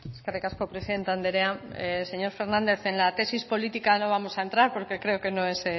eskerrik asko presidente andrea señor hernández en la tesis política no vamos a entrar porque creo que no es